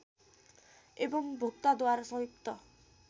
एवम् भोक्ताद्वारा संयुक्त